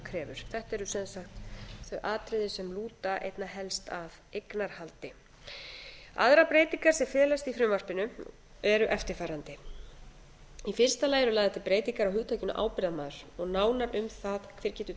krefur þetta eru sem sagt þau atriði sem lúta einna helst að eignarhaldi aðrar breytingar sem felast í frumvarpinu eru eftirfarandi í fyrsta lagi eru lagðar til breytingar á hugtakinu ábyrgðarmaður og nánar um það hver getur